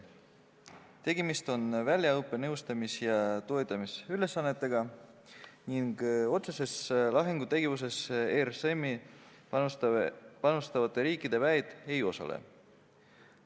Tegemist on väljaõppe-, nõustamis- ja toetamisülesannetega, st otseses lahingutegevuses RSM-i panustavate riikide väed ei osale.